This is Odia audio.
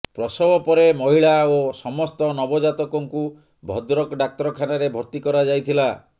ପ୍ରସବ ପରେ ମହିଳା ଓ ସମସ୍ତ ନବ ଜାତକଙ୍କୁ ଭଦ୍ରକ ଡାକ୍ତରଖାନାରେ ଭର୍ତ୍ତି କରାଯାଇଥିଲା